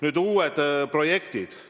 Nüüd uued projektid.